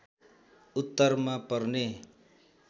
उत्तरमा पर्ने